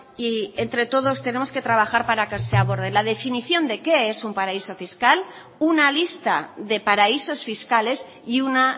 y entre todos tenemos que trabajar para que se aborden la definición de qué es un paraíso fiscal una lista de paraísos fiscales y una